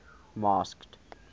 masked